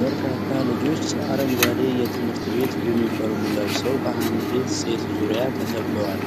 በርካታ ልጆች አረንጓዴ የትምህርት ቤት ዩኒፎርም ለብሰው በአንዲት ሴት ዙሪያ ተከበዋል።